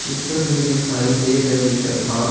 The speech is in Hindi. चित्र में दिखाई दे रही जगह--